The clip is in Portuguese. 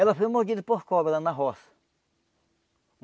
Ela foi mordida por cobra lá na roça.